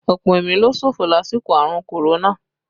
Ọ̀pọ̀ ẹ̀mí ló ṣòfò lásìkò àrùn Korona